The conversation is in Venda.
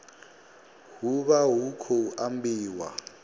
hu vha hu khou ambiwa